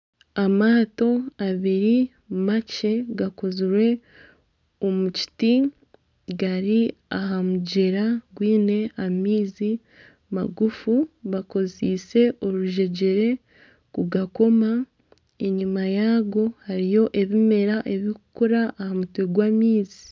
Amaato abiri makye gakozirwe omu kiti gari aha mugyera gwine amaizi magufu gakozitse oruzegyere kugakoma , enyima yago hariyo ebimera ebikukura aha mutwe gw'amaizi.